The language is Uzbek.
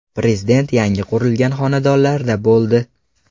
Prezident yangi qurilgan xonadonlarda bo‘ldi.